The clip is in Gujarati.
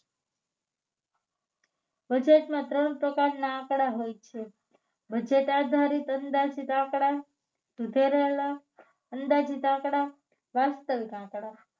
Budget માં ત્રણ પ્રકારના આંકડાઓ હોય છે બજેટ આધારિત અંદાજિત આંકડા સુધારેલા અંદાજિત આંકડા વાસ્તવિક આંકડા